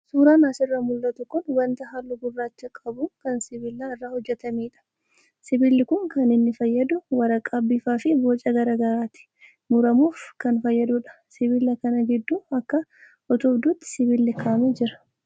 Suuraan asirraa mul'atu kun wanta halluu gurraacha qabu kan sibiila irraa hojjatamedha. Sibiilli kun kan inni fayyadu waraqaa bifaa fi boca garaagaraatti mummuruuf kan fayyadudha. Sibiila kana gidduu akka utubduutti sibiilli kaa'amee jira.